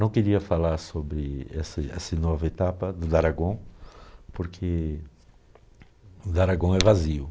Não queria falar sobre esse esse nova etapa do Daragon, porque o Daragon é vazio.